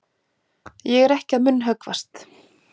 Ég er ekki að munnhöggvast.